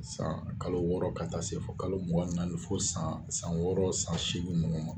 San kalo wɔɔrɔ ka taa se fɔ kalo mugan ni naani fo san san wɔɔrɔ san seegin ninnu ma.